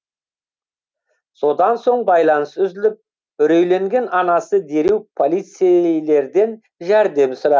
содан соң байланыс үзіліп үрейленген анасы дереу полицейлерден жәрдем сұра